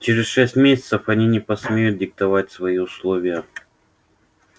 через шесть месяцев они не посмеют диктовать свои условия